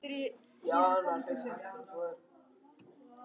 Ármenningar áttu keppendur í öllum þrepum